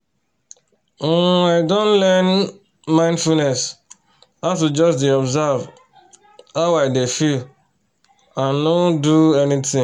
um i don learn from um mindfulness how to just dey observe how i dey feel and nor um do anything